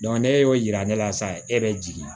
ne y'o yira ne la sa e bɛ jigin